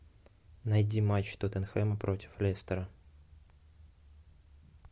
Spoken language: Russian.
найди матч тоттенхэма против лестера